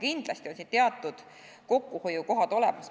Kindlasti on siin teatud kokkuhoiukohad olemas.